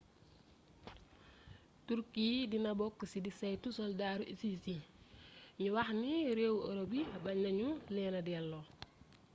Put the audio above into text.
turkey dina bokk ci di saytu soldaru isis yi gnuwaxni rééwu europ yi bagnenagnu léna déllo